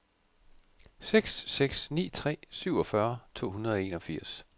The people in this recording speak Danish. seks seks ni tre syvogfyrre to hundrede og enogfirs